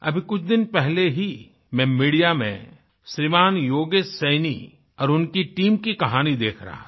अभी कुछ दिन पहले ही मैं मीडिया में श्रीमान् योगेश सैनी और उनकी टीम की कहानी देख रहा था